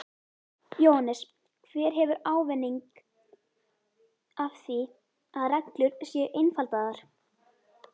Jóhannes: Hver hefur ávinning af því að reglur séu einfaldaðar?